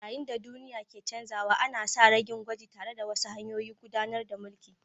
Yayin da duniya ke canzawa, ana sa ran yin gwaji tare da wasu hanyoyin gudanar da mulki.